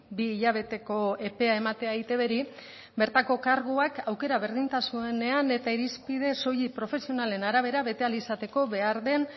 bi hilabeteko epea ematea eitbri bertako karguak aukera berdintasunean eta irizpide soilik profesionalen arabera bete ahal izateko behar den